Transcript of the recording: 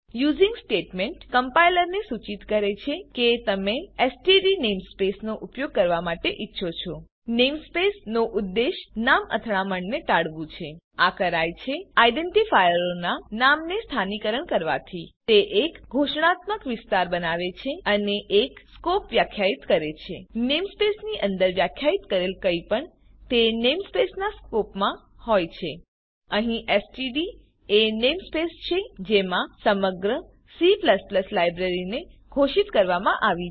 using statement કમ્પાઈલરને સૂચિત કરે છે કે તમે એસટીડી નેમસ્પેસ નો ઉપયોગ કરવા માટે ઈચ્છો છો નેમસ્પેસ નો ઉદ્દેશ નામ અથડામણને ટાળવું છે આ કરાય છે આઇડેન્ટીફાયરોનાં નામને સ્થાનીકરણ કરવાથી તે એક ઘોષણાત્મક વિસ્તાર બનાવે છે અને એક સ્કોપ વ્યાખ્યિત કરે છે નેમસ્પેસ ની અંદર વ્યાખ્યિત કરેલ કંઈપણ તે નેમસ્પેસ નાં સ્કોપમાં હોય છે અહીં એસટીડી એ નેમસ્પેસ છે જેમાં સમગ્ર C લાઈબ્રેરીને ઘોષિત કરવામાં આવી છે